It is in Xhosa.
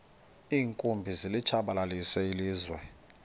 iinkumbi zilitshabalalisile ilizwe